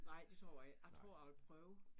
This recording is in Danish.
Nej, det tror jeg ikke. Jeg tror jeg vil prøve